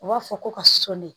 U b'a fɔ ko ka soni